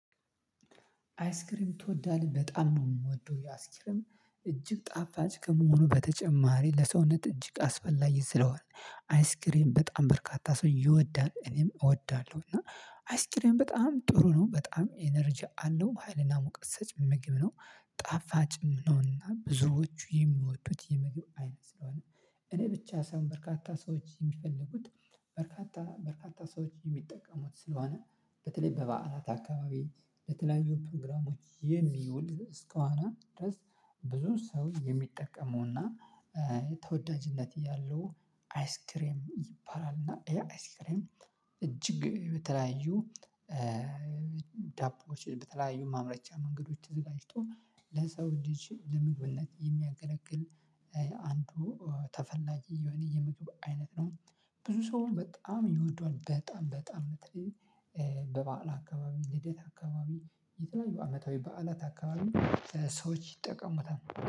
አይስክሪም ትወዳለህ በጣም ነው የምወደው የአስክርም እጅግ ጣፋጭ ከመሆኑ በተጨማሪ ለሰውነት እጅግ አስፈላጊ ስለሆነ አይስክሬም በጣም በርካታ ሰው ይወዳል። እኔም እወዳለሁ። እና አይስክሬም በጣም ጥሩ ነው በጣም ኢነርጂ አለው ሀይልና ሙቀት ሰጭ ምግብ ነው። ጣፋጭም ነውና ብዙዎቹ የሚወዱት የመግቢያው አይነት ስለሆነ እኔ ብቻ ሳይሆን በርካታ ሰዎች የሚፈልጉት። በርካታ በርካታ ሰዎች የሚጠቀሙት ስለሆነ በተለይ በባዓላት አካባቢ ለተለያዩ ፕሮግራሞች የሚውል እስከሆነ ድረስ ብዙ ሰው የሚጠቀመውና። ተወዳጅነት እያሉ አይስክሬም ይባላል እና ያ አይስክሬም። እጅግ በተለያዩ። ዳቦዎችን በተለያዩ ማምረቻ መንገዶች ተዘጋጅቶ ለሰው ልጅ ለምግብነት የሚያገለግል። አንዱ ተፈላጊ የሆነ የምግብ አይነት ነው። ብዙ ሰው በጣም ይወዷል በጣም በጣም በባዓል አካባቢ ልደት አካባቢ የተለያዩ አመታዊ በዓላት አካባቢ ሰዎች ይጠቀሙበታል።